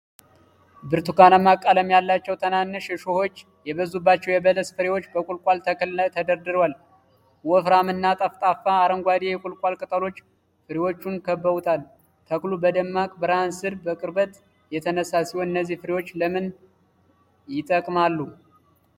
ብርቱካናማ ቀለም ያላቸውና ትናንሽ እሾሆች የበዙባቸው የበለስ ፍሬዎች በቁልቋል ተክል ላይ ተደርድረዋል። ወፍራም እና ጠፍጣፋ አረንጓዴ የቁልቋል ቅጠሎች ፍሬዎቹን ከበውታል። ተክሉ በደማቅ ብርሃን ስር በቅርበት የተነሳ ሲሆን፣ እነዚህ ፍሬዎች ለምን ይጠቅማሉ?